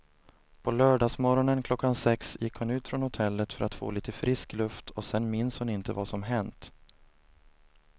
På lördagsmorgonen klockan sex gick hon ut från hotellet för att få lite frisk luft och sen minns hon inte vad som hänt.